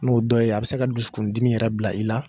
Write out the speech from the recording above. N'o dɔ ye a bi se ka dusukundimi yɛrɛ bila i la